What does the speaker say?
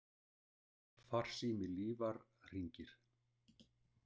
Farsími Lífar hringir.